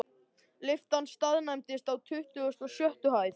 Lyftan staðnæmdist á tuttugustu og sjöttu hæð.